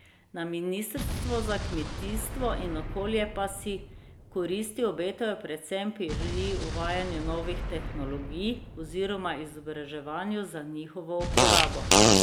Na ministrstvu za kmetijstvo in okolje pa si koristi obetajo predvsem pri uvajanju novih tehnologij oziroma izobraževanju za njihovo uporabo.